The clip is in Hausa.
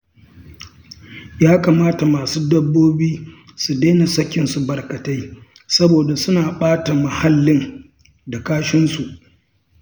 Ya kamata masu dabbobi su daina sakinsu barkatai saboda suna ɓata muhallin da kashinsu